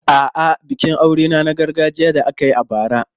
A'a, bikin aurena na gargajiya da aka yi a bara.